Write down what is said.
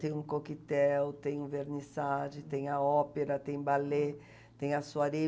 Tem o coquetel, tem o vernissage, tem a ópera, tem ballet, tem a soiree.